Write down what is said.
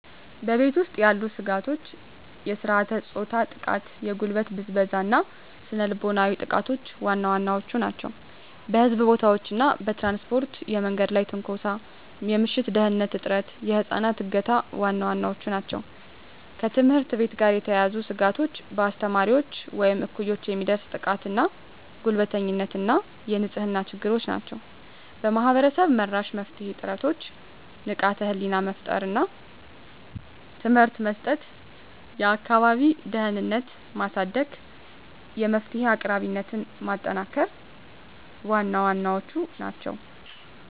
በቤት ውስጥ ያሉ ስጋቶች የሥርዓተ-ፆታ ጥቃ፣ የጉልበት ብዝበዛ እና ስነ ልቦናዊ ጥቃቶች ዋና ዋናዎቹ ናቸው። በሕዝብ ቦታዎች እና በትራንስፖርት የመንገድ ላይ ትንኮሳ፣ የምሽት ደህንንነት እጥረት፣ የህፃናት እገታ ዋና ዋናዎቹ ናቸው። ከትምህርት ቤት ጋር የተያያዙ ስጋቶች በአስተማሪዎች ወይም እኩዮች የሚደርስ ጥቃትና ጉልበተኝነት እና የንጽህና ችግሮች ናቸው። ማህበረሰብ-መራሽ የመፍትሄ ጥረቶች ንቃተ ህሊና መፍጠር እና ትምህርት መስጠት፣ የአካባቢ ደህንነትን ማሳደግ፣ የመፍትሄ አቅራቢነትን ማጠናከር ዋና ዋናዎቹ ናቸው።